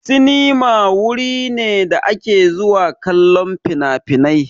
Sinima wuri ne da ake zuwa kallon finafinai.